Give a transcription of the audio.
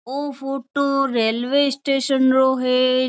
ओ photo railway station रो है।